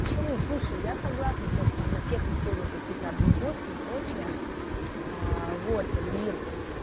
почему слушай я согласна то что там на тех находят какие-то объебосы и прочее вот и